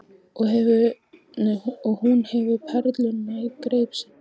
Og hún hefur perluna í greip sinni.